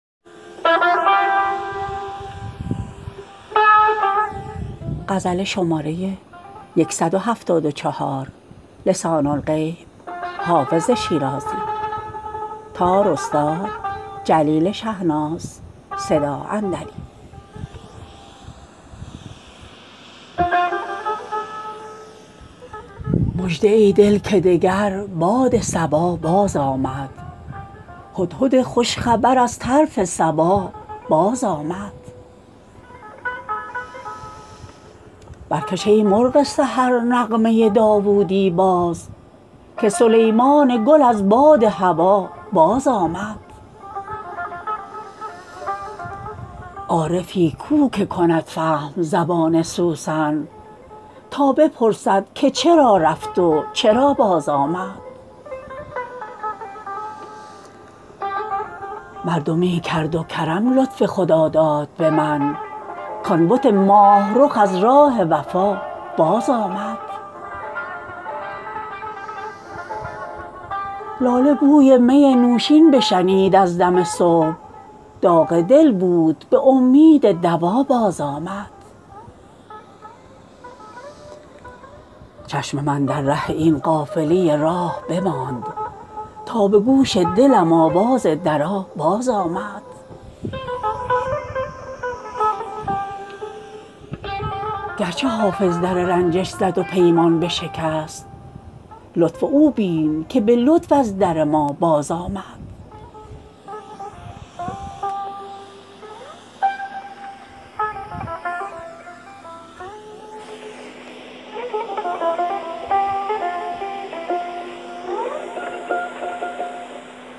مژده ای دل که دگر باد صبا بازآمد هدهد خوش خبر از طرف سبا بازآمد برکش ای مرغ سحر نغمه داوودی باز که سلیمان گل از باد هوا بازآمد عارفی کو که کند فهم زبان سوسن تا بپرسد که چرا رفت و چرا بازآمد مردمی کرد و کرم لطف خداداد به من کـ آن بت ماه رخ از راه وفا بازآمد لاله بوی می نوشین بشنید از دم صبح داغ دل بود به امید دوا بازآمد چشم من در ره این قافله راه بماند تا به گوش دلم آواز درا بازآمد گرچه حافظ در رنجش زد و پیمان بشکست لطف او بین که به لطف از در ما بازآمد